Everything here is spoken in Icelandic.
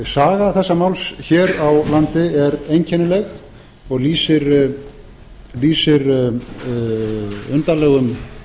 saga þessa máls hér á landi er einkennileg og lýsir undarlegum